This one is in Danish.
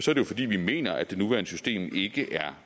jo fordi vi mener at det nuværende system ikke er